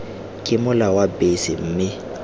ke mola wa bese mme